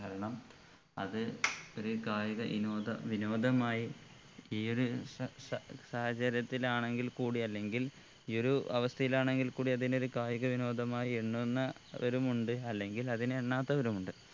കാരണം അത് ഒര് കായിക ഇനോദ വിനോദമായി ഈ ഒരു സ സ സാഹചര്യത്തിലാണെങ്കിൽ കൂടി അല്ലെങ്കിൽ ഈ ഒരു അവസ്ഥയിൽ ആണെങ്കിൽ കൂടി അതിനെ ഒരു കായിക വിനോദമായി എണ്ണുന്നവരുമുണ്ട് അല്ലെങ്കിൽ അതിനെ എണ്ണാത്തവരുമുണ്ട്